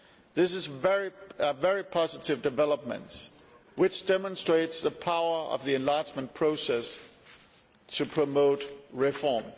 These are very positive developments, which demonstrate the power of the enlargement process to promote reform.